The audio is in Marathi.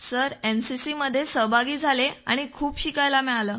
सर एनसीसीमध्ये सहभागी झालो आणि खूप शिकायला मिळालं